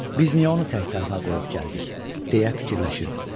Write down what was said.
Biz niyə onu tək-tənha qoyub gəldik, deyə fikirləşirdim.